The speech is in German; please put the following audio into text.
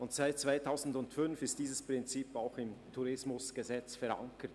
Seit 2005 ist dieses Prinzip auch im TEG verankert.